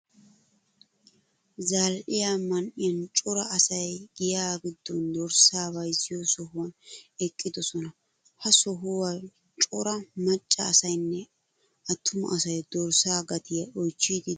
Zal'iya man'iyan cora asay giya giddon dorssa bayziyo sohuwan eqqidosona. Ha sohuwan cora macca asaynne atruma asay dorssa gatiyaa oychchidi deosona.